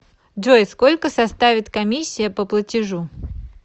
джой сколько составит комиссия по платежу